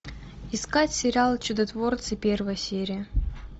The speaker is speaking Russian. искать сериал чудотворцы первая серия